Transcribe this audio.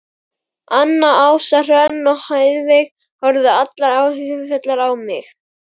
Anna, Ása, Hrönn og Heiðveig horfðu allar áhyggjufullar á mig.